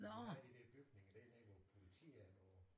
Der havde de de bygninger der nede der hvor politiet er nu